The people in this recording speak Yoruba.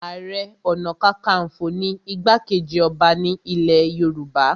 Ààrẹ ọ̀nàkakafo ni igbá-kejì ọba ní ilẹ̀ Yorùbá